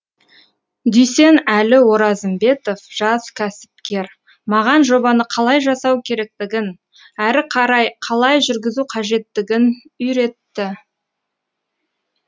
дүйсенәлі оразымбетов жас кәсіпкер маған жобаны қалай жасау керектігін әрі қарай қалай жүргізу қажеттігін үйретті